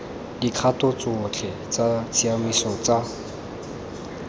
dikgato tsotlhe tsa tshiamiso tsa